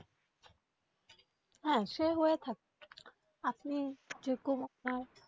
হ্যাঁ সে হয়ে থাকে আপনি যেরকম আহ